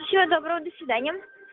всего добро до свидания